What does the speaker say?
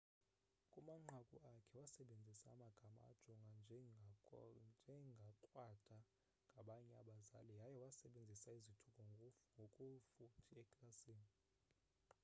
kumanqaku akhe wasebenzisa amagama ajongwa njengakrwada ngabanye abazali yaye waysebenzisa izithuko ngokufuthi eklasini